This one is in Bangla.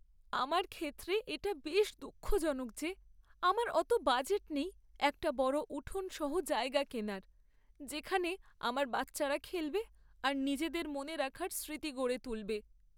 আমার ক্ষেত্রে এটা বেশ দুঃখজনক যে আমার অত বাজেট নেই একটা বড় উঠোন সহ জায়গা কেনার, যেখানে আমার বাচ্চারা খেলবে আর নিজেদের মনে রাখার স্মৃতি গড়ে তুলবে।